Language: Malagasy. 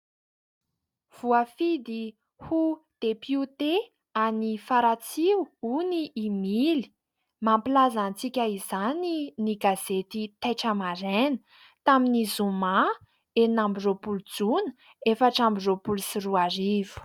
Voafidy ho depiote any Faratsio hono i Mily, mampilaza antsika izany ny gazety taitra maraina tamin'ny zoma ambi-roapolo jona efatra ambi-roapolo sy roarivo.